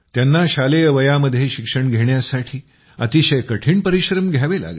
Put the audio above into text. त्यांना शालेय वयामध्ये शिक्षण घेण्यासाठी अतिशय कठीण परिश्रम घ्यावे लागले